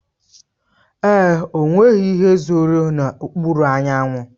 Èé, enweghị ihe zòro n'okpuru anyanwụ.